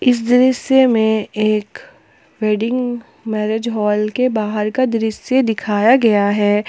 इस दृश्य में एक वेडिंग मैरिज हॉल के बाहर का दृश्य दिखाया गया है।